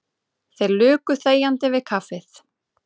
Þeir luku þegjandi við kaffið.